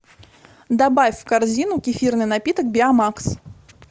добавь в корзину кефирный напиток биомакс